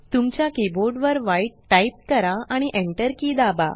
तुमच्या कीबोर्ड वर white type करा आणि enter की दाबा